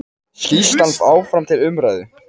Skýrslan áfram til umræðu